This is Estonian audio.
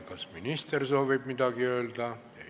Kas minister soovib midagi öelda?